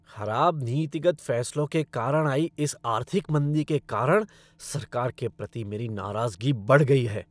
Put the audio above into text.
खराब नीतिगत फ़ैसलों के कारण आई इस आर्थिक मंदी के कारण सरकार के प्रति मेरी नाराज़गी बढ़ गई है।